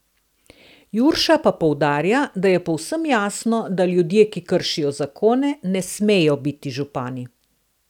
Jurša pa poudarja, da je povsem jasno, da ljudje, ki kršijo zakone, ne smejo biti župani.